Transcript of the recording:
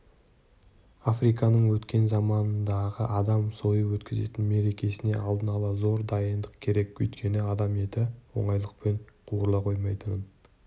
африканың өткен замандағы адам сойып өткізетін мерекесіне алдын ала зор дайындық керек өйткені адам еті оңайлықпен қуырыла қоймайтынын